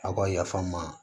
Aw ka yaf'an ma